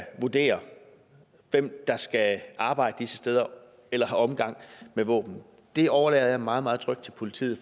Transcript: vurdere hvem der skal arbejde disse steder eller have omgang med våben det overlader jeg meget meget trygt til politiet